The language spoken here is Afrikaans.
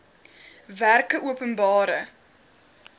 werkeopenbare